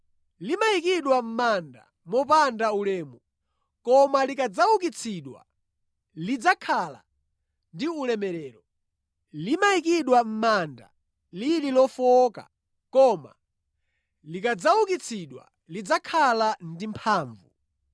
Limayikidwa mʼmanda mopanda ulemu, koma likadzaukitsidwa lidzakhala ndi ulemerero. Limayikidwa mʼmanda lili lofowoka, koma likadzaukitsidwa lidzakhala ndi mphamvu.